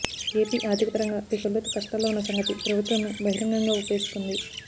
AP ఆర్ధికపరంగా పీకల్లోతు కష్టాల్లో ఉన్న సంగతి ప్రభుత్వమే బహిరంగంగా ఒప్పేసుకుంది